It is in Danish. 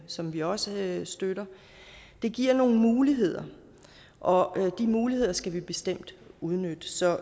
som vi også støtter giver nogle muligheder og de muligheder skal vi bestemt udnytte så